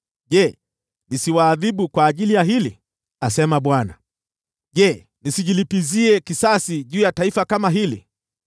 Je, nisiwaadhibu kwa ajili ya hili?” asema Bwana . “Je, nisijilipizie kisasi juu ya taifa kama hili?